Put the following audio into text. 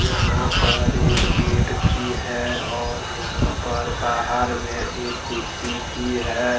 यहां पर एक गेट भी है और यहां पर बाहार में एक कुर्सी भी है।